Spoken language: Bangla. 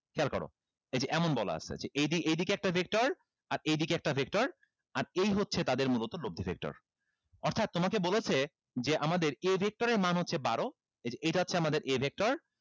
খেয়াল করো এই যে এমন বলা আছে যে এইদিকে একটা vector আর এইদিকে একটা vector আর এই হচ্ছে তাদের মূলত লব্দি vector অর্থাৎ তোমাকে বলেছে যে আমাদের a vector এর মান হচ্ছে বারো এই যে এটা হচ্ছে আমাদের a vector